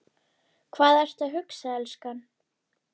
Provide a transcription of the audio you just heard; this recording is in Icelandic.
Hvað ertu að hugsa, elskan?